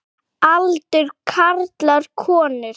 Aldur karlar konur